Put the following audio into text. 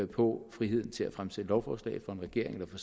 på friheden til at fremsætte lovforslag for en regering